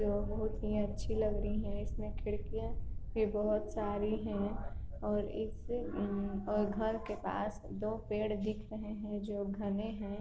ये बहोत ही अच्छी लग रही है। इसमें खिड़किया बहोत सारी हैं और एक और घर के पास दो पेड़ देख रहे है जो घने है